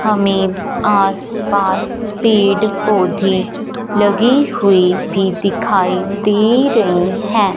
हमें आस पास पेड़ पौधे भी लगे हुए भी दिखाई दे रहे हैं।